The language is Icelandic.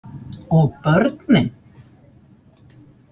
Og börnin?